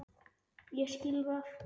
Ég skil það.